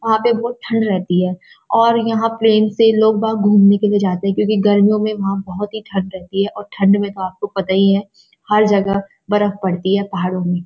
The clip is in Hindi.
यहाँ पे बहुत ठंड रहती है और यहाँ प्‍लेन से लोग बाग घूमने के लिए जाते हैं क्‍योंकि गर्मियों में वहाँ बहुत ही ठंड रहती है और ठंड में तो आपको पता ही है हर जगह बर्फ पड़ती है पहाड़ों में।